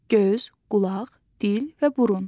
Göz, qulaq, dil və burun.